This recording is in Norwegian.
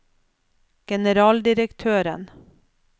generaldirektøren